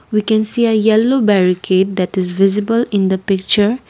we can see a yellow that is visible in the picture.